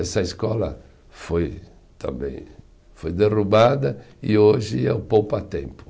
Essa escola foi também, foi derrubada e hoje é o Poupatempo.